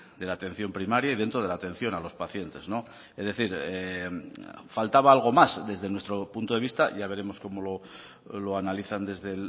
de la atención primaria y dentro de la atención a los pacientes es decir faltaba algo más desde nuestro punto de vista ya veremos cómo lo analizan desde